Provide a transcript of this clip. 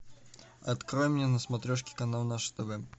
открой мне на смотрешке канал наше тв